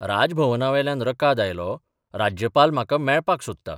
राज भवनावेल्यान रकाद आयलो राज्यपाल म्हाका मेळपाक सोदता.